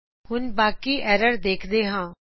ਹੁਣ ਬਾਕੀ ਐਰਰ ਦੇਖਦੇ ਹਾਂ